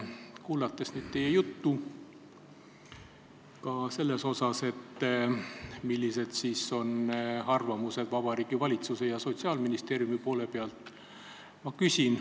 Kuulasin nüüd teie juttu ka selle kohta, millised on Vabariigi Valitsuse ja Sotsiaalministeeriumi arvamused.